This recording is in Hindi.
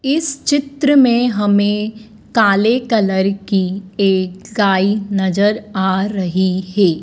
इस चित्र में हमें काले कलर की एक साई नज़र आ रही है।